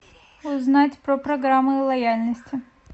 узнать про программы лояльности